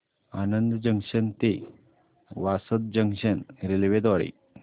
Anand junction ते Vasad junction railway द्वारे